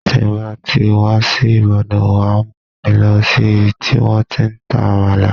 Tí ń bá ti wá sí Ìbàdàn, wàá mú mi lọ sí ibi tí wọ́n ti ń ta Àmàlà.